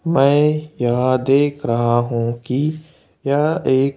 मैं यहां देख रहा हूं कि यह एक--